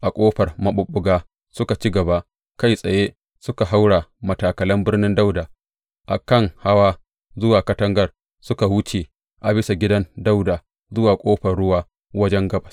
A Ƙofar Maɓuɓɓuga suka ci gaba kai tsaye suka haura matakalan Birnin Dawuda a kan hawa zuwa katangar suka wuce a bisa gidan Dawuda zuwa Ƙofar Ruwa wajen gabas.